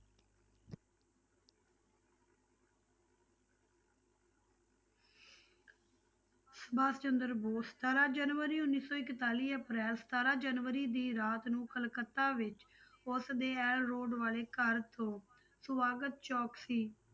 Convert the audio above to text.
ਸੁਭਾਸ਼ ਚੰਦਰ ਬੋਸ ਸਤਾਰਾਂ ਜਨਵਰੀ ਉੱਨੀ ਸੌ ਇਕਤਾਲੀ ਅਪ੍ਰੈਲ ਸਤਾਰਾਂ ਜਨਵਰੀ ਦੀ ਰਾਤ ਨੂੰ ਕਲਕੱਤਾ ਵਿੱਚ ਉਸ ਦੇ road ਵਾਲੇ ਘਰ ਤੋਂ ਸਵਾਗਤ ਚੌਂਕ ਸੀ,